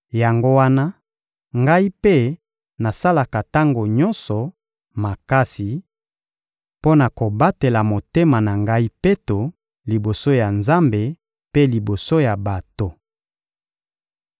Yango wana, ngai mpe nasalaka tango nyonso makasi mpo na kobatela motema na ngai peto, liboso ya Nzambe mpe liboso ya bato.